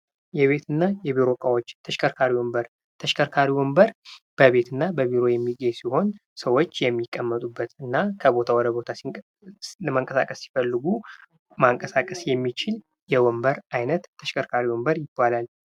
የቤትና የቢሮ እቃዎች ተሽከርካሪ ወንበር። ተሽከርካሪ ወንበር በቤትና በቢሮ የሚገኙ ሲሆን ሰዎች የሚቀመጡበትና ከቦታ ወደቦታ መንቀሳቀስ ሲፈልጉ ማንቀሳቀስ የሚችል የወንበር አይነት ተሽከርካሪ ወንበር ይባላል።